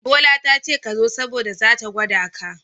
Bola tace kazo saboda zata gwada ka.